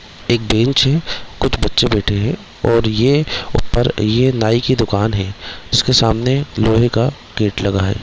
एक बेंच है कुछ बच्चे बैठे है और ये ऊपर ये नाई की दुकान है इसके सामने लोहे का गेट लगा है ।